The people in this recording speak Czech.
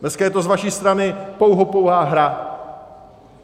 Dneska je to z vaší strany pouhopouhá hra.